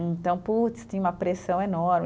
Então, putz, tinha uma pressão enorme.